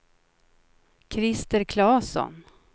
Christer Claesson